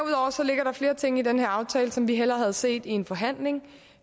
flere ting i den her aftale som vi hellere havde set i en forhandling